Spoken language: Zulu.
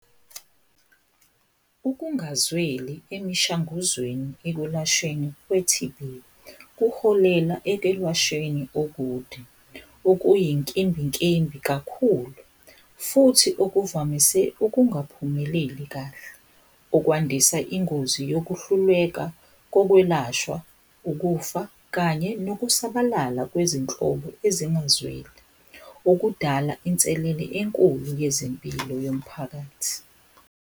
Ukungazweli emishanguzweni ekulashweni kwe-T_B, kuholela ekwelashweni okude, okuyinkimbinkimbi kakhulu futhi okuvamise ukungaphumeleli kahle. Okwandisa ingozi yokuhluleka kokwelashwa, ukufa kanye nokusabalala kwezinhlobo ezingumzwelo. Ukudala inselele enkulu yezempilo yomphakathi.